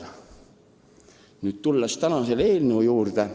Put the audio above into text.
Aga tulen nüüd tänase eelnõu juurde.